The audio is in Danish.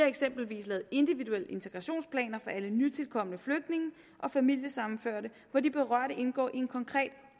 eksempel lavet individuelle integrationsplaner for alle nytilkomne flygtninge og familiesammenførte hvor de berørte indgår i en konkret